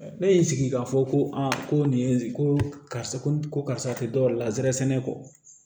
Ne ye n sigi k'a fɔ ko ko nin ye ko karisa ko karisa tɛ dɔ wɛrɛ la nsɛrɛ sɛnɛ kɔ